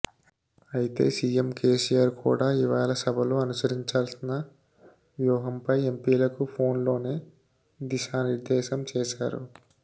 అయితే సీఎం కేసీఆర్ కూడా ఇవాళ సభలో అనుసరించాల్సిన వ్యూహంపై ఎంపీలకు పోన్ లోనే దిశానిర్ధేశం చేశారు